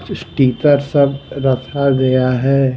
Sticker सब रखा गया हैं ।